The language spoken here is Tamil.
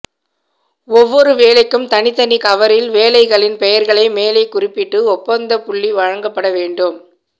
ஒவ்வொரு வேலைக்கும் தனித்தனி கவரில் வேலைகளின் பெயர்களை மேலே குறிப்பிட்டு ஒப்பந்தப்புள்ளிவழங்கப்பட வேண்டும்